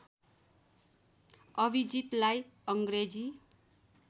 अभिजितलाई अङ्ग्रेजी